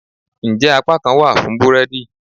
njẹ apakan wa fún búredì?